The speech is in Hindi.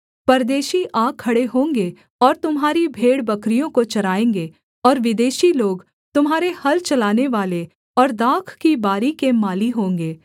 परदेशी आ खड़े होंगे और तुम्हारी भेड़बकरियों को चराएँगे और विदेशी लोग तुम्हारे हल चलानेवाले और दाख की बारी के माली होंगे